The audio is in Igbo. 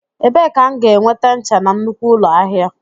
Ebee ka m ga-enweta ncha na nnukwu ụlọ ahịa?